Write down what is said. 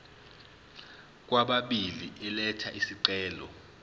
kwababili elatha isicelo